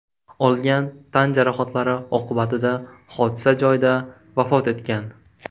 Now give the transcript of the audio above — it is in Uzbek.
olgan tan jarohatlari oqibatida hodisa joyida vafot etgan.